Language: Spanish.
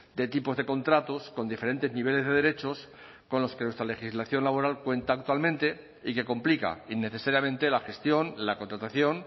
de tipos de contratos con diferentes niveles de derechos con los que nuestra legislación laboral cuenta actualmente y que complica innecesariamente la gestión la contratación